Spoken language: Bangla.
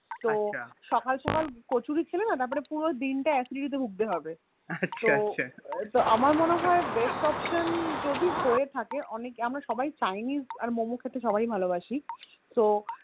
তো সকাল সকাল কচুরি খেলে না পুরো দিনটা Acidity তে ভুগতে হোৱে তো আমার মনে হয়ে Best option যদি হয়ে থাকে আমরা সবাই Chinese আর Momo খেতে সবাই ভালোবাসি তো